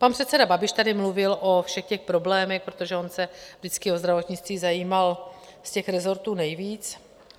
Pan předseda Babiš tady mluvil o všech těch problémech, protože on se vždycky o zdravotnictví zajímal z těch resortů nejvíc.